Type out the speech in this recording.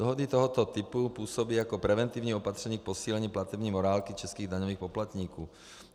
Dohody tohoto typu působí jako preventivní opatření k posílení platební morálky českých daňových poplatníků.